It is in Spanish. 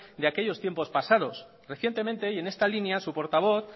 de aquellos tiempos pasados recientemente y en esta línea su portavoz